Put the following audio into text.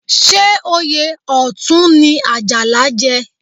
Ṣé oyè Ọ̀tún ni Àjàlá jẹ?